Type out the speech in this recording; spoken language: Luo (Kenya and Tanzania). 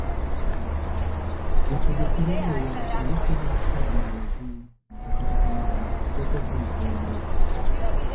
Jotugo chwero luya kendo temo kar nyalo gi to kata kamano teko gi romre.